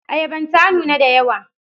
Ayaban ta nuna da yawa.